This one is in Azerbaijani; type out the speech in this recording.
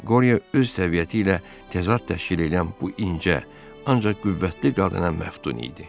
Qoriyo öz təbiəti ilə təzad təşkil eləyən bu incə, ancaq qüvvətli qadına məftun idi.